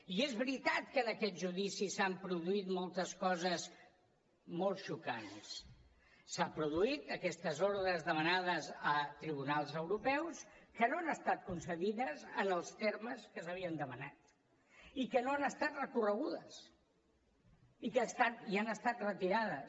i és veritat que en aquest judici s’han produït moltes coses molt xocants s’han produït aquestes ordres demanades a tribunals europeus que no han estat concedides en els termes que s’havien demanat i que no han estat recorregudes i han estat retirades